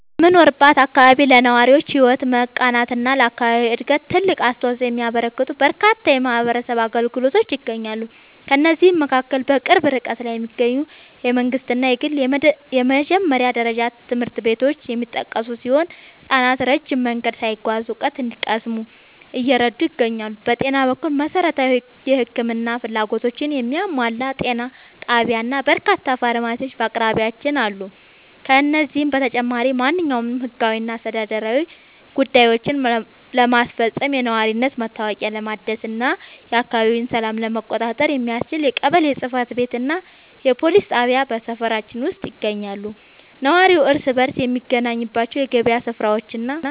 በምኖርበት አካባቢ ለነዋሪዎች ሕይወት መቃናትና ለአካባቢው ዕድገት ትልቅ አስተዋፅኦ የሚያበረክቱ በርካታ የማኅበረሰብ አገልግሎቶች ይገኛሉ። ከእነዚህም መካከል በቅርብ ርቀት ላይ የሚገኙ የመንግሥትና የግል የመጀመሪያ ደረጃ ትምህርት ቤቶች የሚጠቀሱ ሲሆን፣ ሕፃናት ረጅም መንገድ ሳይጓዙ እውቀት እንዲቀስሙ እየረዱ ይገኛሉ። በጤና በኩል፣ መሠረታዊ የሕክምና ፍላጎቶችን የሚያሟላ ጤና ጣቢያና በርካታ ፋርማሲዎች በአቅራቢያችን አሉ። ከዚህም በተጨማሪ፣ ማንኛውንም ሕጋዊና አስተዳደራዊ ጉዳዮችን ለማስፈጸም፣ የነዋሪነት መታወቂያ ለማደስና የአካባቢውን ሰላም ለመቆጣጠር የሚያስችል የቀበሌ ጽሕፈት ቤትና የፖሊስ ጣቢያ በሰፈራችን ውስጥ ይገኛሉ። ነዋሪው እርስ በርስ የሚገናኝባቸው የገበያ ሥፍራዎችና